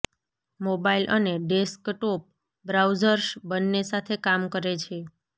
mobile અને desktop browsers બંને સાથે કામ કરે છે